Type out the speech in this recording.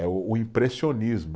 É o o impressionismo.